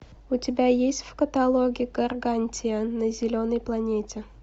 у тебя есть в каталоге гаргантия на зеленой планете